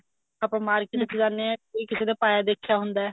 ਆਪਾਂ market ਵਿੱਚ ਜਾਂਦੇ ਹਾਂ ਕੋਈ ਕਿਸੇ ਦੇ ਪਾਇਆ ਦੇਖਿਆ ਹੁੰਦਾ